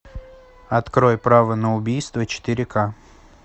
открой право на убийство четыре к